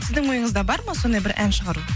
сіздің ойыңызда бар ма сондай бір ән шығару